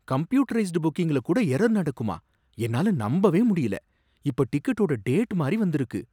Computerised புக்கிங்ல கூட error நடக்குமா! என்னால நம்பவே முடியல! இப்ப டிக்கெட்டோட டேட் மாறி வந்துருக்கு.